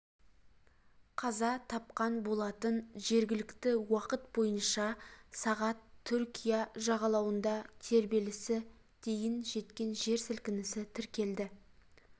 қаза тапқан болатын жергілікті уақыт бойынша сағат түркия жағалауында тербелісі дейін жеткен жер сілкінісі тіркелді